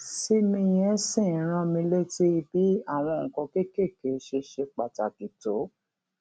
sí mi yẹn ṣì ń rán mi létí bí àwọn nǹkan kéékèèké ṣe ṣe pàtàkì tó